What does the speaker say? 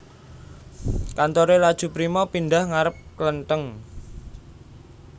Kantore Laju Prima pindah ngarep klentheng